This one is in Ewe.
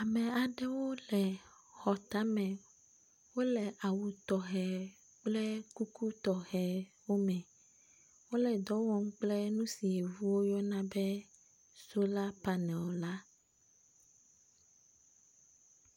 ame aɖewo wóle xɔ táme wóle awu tɔxɛ kple kuku tɔxɛwo me wóle dɔwɔm kple nusi wo yɔna be sola panel la